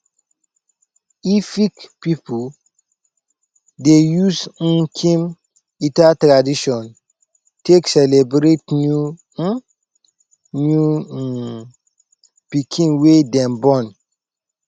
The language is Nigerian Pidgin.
efik pipu dey use nkim ita tradition take celebrate new um new um pikin wey dem born